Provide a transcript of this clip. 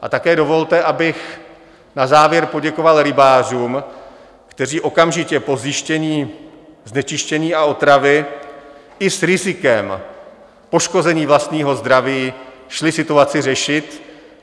A také dovolte, abych na závěr poděkoval rybářům, kteří okamžitě po zjištění znečištění a otravy i s rizikem poškození vlastního zdraví šli situaci řešit.